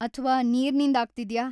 ಅಥ್ವಾ ನೀರ್‌ನಿಂದ್‌ ಆಗ್ತಿದ್ಯಾ?